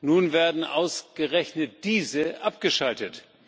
Nun werden ausgerechnet diese abgeschaltet.